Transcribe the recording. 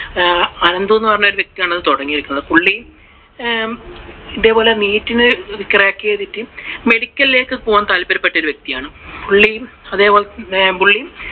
അനന്ദു എന്ന് പറയുന്ന ഒരു വ്യക്തി ആണ് ഇത് തുടങ്ങിവെച്ചത്. പുള്ളി ഇതേപോലെ neet നു crack ചെയ്തിട്ട് മെഡികളി Medical ലേക്കു പോകാൻ താല്പര്യപ്പെട്ട വ്യക്തിയാണ്. പുള്ളി അതേപോലെ പുള്ളി